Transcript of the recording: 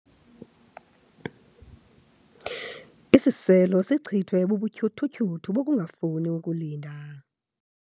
Isiselo sichithwe bubutyhuthutyhuthu bokungafuni ukulinda.